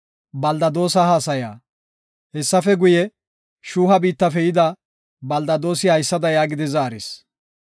Hessafe guye, Shuuha biittafe yida Beldadoosi haysada yaagidi zaaris;